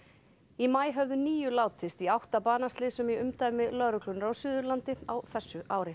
í maí höfðu níu látist í átta banaslysum í umdæmi lögreglunnar á Suðurlandi á þessu ári